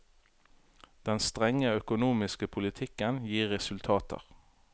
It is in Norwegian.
Den strenge økonomiske politikken gir resultater.